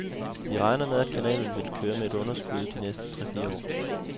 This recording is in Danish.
Vi regner med, at kanalen vil køre med underskud de næste tre-fire år.